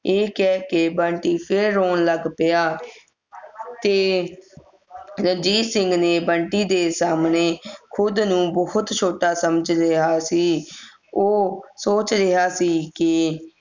ਇਹ ਕਹਿ ਕੇ ਬੰਟੀ ਫਿਰ ਰੋਣ ਲੱਗ ਪਿਆ ਤੇ ਰਣਜੀਤ ਸਿੰਘ ਨੇ ਬੰਟੀ ਦੇ ਸਾਮਣੇ ਖੁਦ ਨੂੰ ਬਹੁਤ ਛੋਟਾ ਸਮਝ ਰਿਹਾ ਸੀ ਉਹ ਸੋਚ ਰਿਹਾ ਸੀ ਕੇ